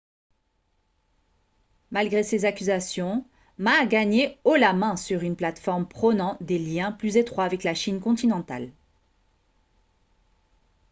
malgré ces accusations ma a gagné haut la main sur une plateforme prônant des liens plus étroits avec la chine continentale